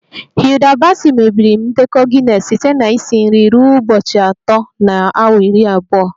Hilda baci mebiri ndekọ Guinness site na isi nri ruo ụbọchị atọ na awa iri abụọ